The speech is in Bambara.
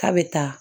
K'a bɛ taa